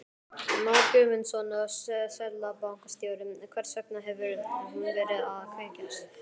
Már Guðmundsson, seðlabankastjóri: Hvers vegna hefur hún verið að veikjast?